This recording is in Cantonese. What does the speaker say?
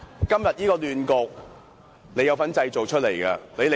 今天這個亂局，你有份製造。